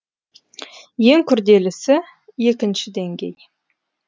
ең күрделісі екінші деңгей